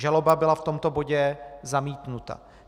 Žaloba byla v tomto bodě zamítnuta.